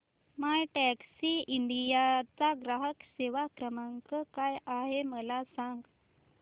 My Taxi India चा ग्राहक सेवा क्रमांक काय आहे मला सांग